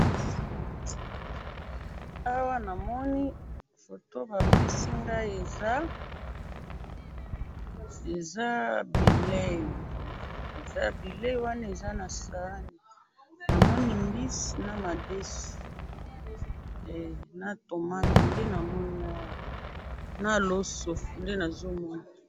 awa namoni photo bapesi ngai eza eza bileyi eza bileyi wana eza na sahani namoni mbisi na madesu eehh na tomato nde namoni awa na loso nde nazomona